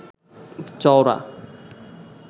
চওড়া